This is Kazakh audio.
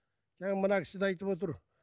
жаңа мына кісі де айтып отыр